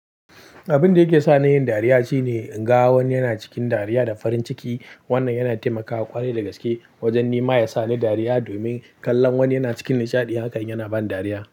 Abin da yake sa ni yin dariya shine in ga wani yana cikin dariya da farin ciki. Wannan yana taimaka wa ƙwari da gaske wajen nima yasa ni dariya domin kallon wani yana cikin nishaɗi. Haka yana bani dariya.